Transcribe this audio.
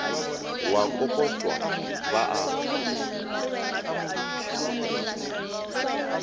go a kokotwa ba a